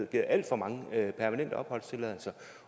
givet alt for mange permanente opholdstilladelser